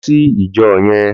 Lò si ijò yèn